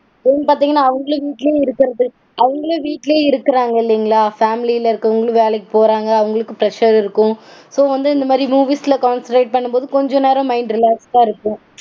பாத்தீங்கனா அவங்களும் வீட்லயே இருக்கறது. அவங்களும் வீட்லயே இருக்கறாங்க இல்லைங்களா? Family -ல இருக்கறவங்களும் வேலைக்கு போறாங்க அவங்களுக்கும் pressure -ஆ இருக்கும். So வந்து இந்த மாதிரி movies -ல concentrate பண்ணும்போது கொஞ்ச நேரம் mind relax -ஆ இருக்கும்.